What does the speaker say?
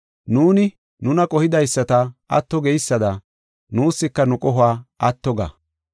Nuuni nuna qohidaysata, atto geysada, nuuska nu qohuwa atto ga.